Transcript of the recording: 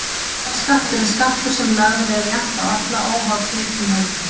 Nefskattur er skattur sem lagður er jafnt á alla, óháð tekjum og eignum.